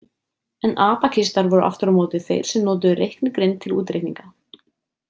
En abakistar voru aftur á móti þeir sem notuðu reiknigrind til útreikninga.